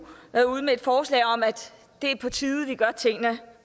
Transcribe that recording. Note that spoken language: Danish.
været ude med et forslag om at det er på tide vi gør tingene